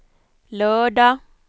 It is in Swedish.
lördag